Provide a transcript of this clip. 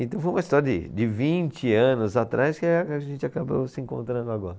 Então foi uma história de, de vinte anos atrás que a, que a gente acabou se encontrando agora.